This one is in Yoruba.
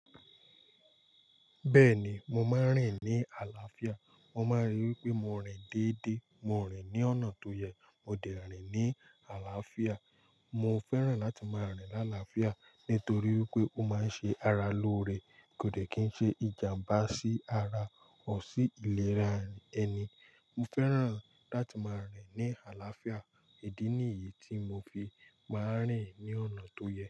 Bẹ́ẹ̀ni, mo máa ń rìn ní àlàáfíà. Mo máa ń rí wí pé mo rìn dédé, mo rìn ní ọ̀nà tó yẹ, mo dẹ̀ rìn ní àlàáfíà. Mo fẹ́ràn láti máa rìn láàlàáfíà nítorí wípé ó máa ń ṣe ara lóore, kò dẹ̀ kí n ṣe ìjàmbá sí ara, or sí ìlera ẹni. Mo fẹ́ràn láti máa rìn ní àlàáfíà. Ìdí ni yìí tí mo fi máa ń rìn ní ọ̀nà tó yẹ.